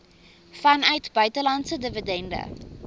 vanuit buitelandse dividende